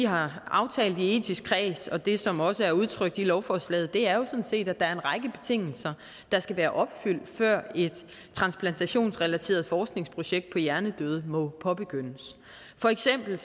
har aftalt i den etiske kreds og det som også er udtrykt i lovforslaget er jo set at der er en række betingelser der skal være opfyldt før et transplantationsrelateret forskningsprojekt på hjernedøde må påbegyndes for eksempel